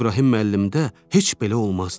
İbrahim müəllimdə heç belə olmazdı.